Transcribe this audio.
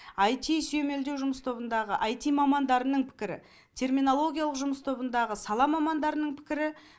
аити сүймелдеу жұмыс тобындағы аити мамандарының пікірі терминологиялық жұмыс тобындағы сала мамандарының пікірі